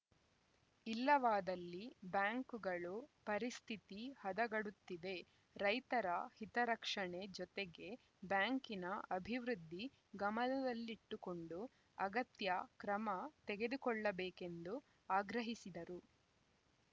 ಇಲ್ಲವಾದಲ್ಲಿ ಬ್ಯಾಂಕುಗಳು ಪರಿಸ್ಥಿತಿ ಹದಗಡುತ್ತದೆ ರೈತರ ಹಿತರಕ್ಷಣೆ ಜೊತೆಗೆ ಬ್ಯಾಂಕಿನ ಅಭಿವೃದ್ಧಿ ಗಮನಹಲ್ಲಿಟ್ಟುಕೊಂಡು ಅಗತ್ಯ ಕ್ರಮ ತೆಗೆದುಕೊಳ್ಳಬೇಕೆಂದು ಆಗ್ರಹಿಸಿದರು